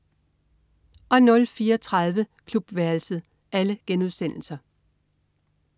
04.30 Klubværelset*